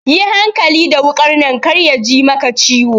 Yi hankali da wukar nan kar yaji maka ciwo.